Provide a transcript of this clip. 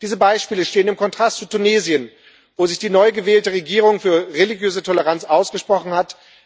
Diese Beispiele stehen im Kontrast zu Tunesien, wo sich die neugewählte Regierung für religiöse Toleranz ausgesprochen hat.